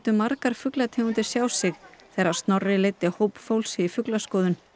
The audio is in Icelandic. margar fuglategundir sjá sig þegar Snorri leiddi hóp fólks í fuglaskoðun